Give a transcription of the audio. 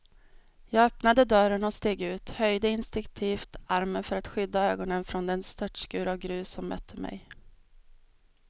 Jag öppnade dörren och steg ut, höjde instinktivt armen för att skydda ögonen från den störtskur av grus som mötte mig.